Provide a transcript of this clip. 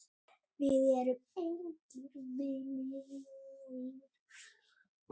Við erum engir vinir.